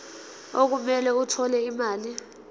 okumele athole imali